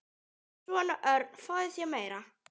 Svona, Örn, fáðu þér meira.